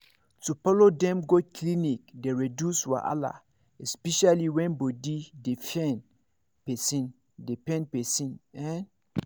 to follow dem go clinic dey reduce wahala especially when body dey pain person dey pain person en